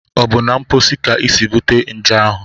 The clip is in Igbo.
Ọ bụ na mposi ka isi bute nje ahụ?